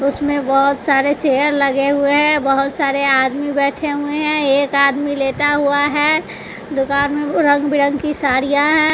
उसमें बहोत सारे चेयर लगे हुए हैं बहोत सारे आदमी बैठे हुए हैं एक आदमी लेटा हुआ है दुकान में रंग बिरं की साड़ियां हैं।